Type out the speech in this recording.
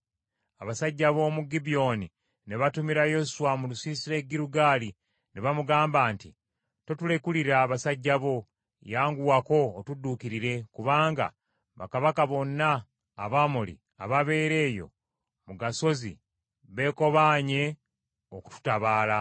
Abasajja b’omu Gibyoni ne batumira Yoswa mu lusiisira e Girugaali ne bamugamba nti, “Totulekulira basajja bo, yanguwako otudduukirire kubanga bakabaka bonna Abamoli ababeera eyo mu gasozi beekobaanye okututabaala.”